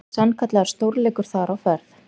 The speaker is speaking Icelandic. Sannkallaður stórleikur þar á ferð.